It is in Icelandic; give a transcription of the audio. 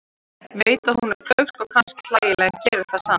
Veit að hún er klaufsk og kannski hlægileg en gerir það samt.